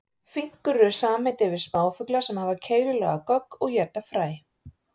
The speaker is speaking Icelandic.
Finkur eru samheiti yfir smáfugla sem hafa keilulaga gogg og éta fræ.